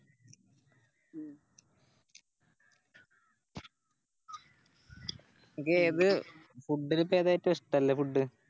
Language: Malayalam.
നിനക്ക് ഏത് Food ലിപ്പോ ഏതാ ഏറ്റോ ഇഷ്ടള്ള Food